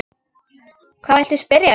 Hvað viltu spyrja um?